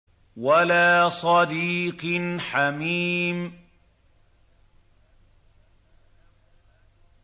وَلَا صَدِيقٍ حَمِيمٍ